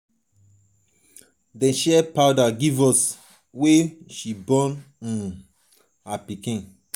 dem share powder give us wen she born um her pikin.